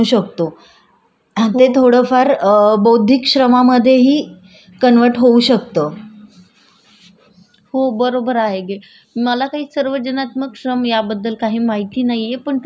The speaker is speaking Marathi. हो बरोबर की आहे मला काही सर्वजनात्मक श्रम याबद्दल काही माहिती नाहीये पण तुझ्याकडून ही माहिती कळाल्याबद्दल बरं वाटलं आणि तुला भरपूर माहिती आहे सर सर्वजनात्मक सम्याबद्दलची.